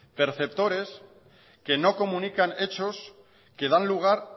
perceptores que no comunican hechos que dan lugar